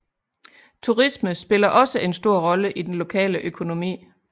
Turisme spiller også en stor rolle i den lokale økonomi